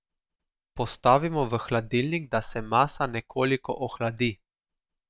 Postavimo v hladilnik, da se masa nekoliko ohladi.